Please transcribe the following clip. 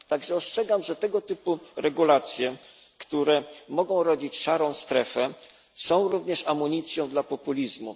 Tak, że ostrzegam, że tego typu regulacje, które mogą rodzić szarą strefę, są również amunicją dla populizmu.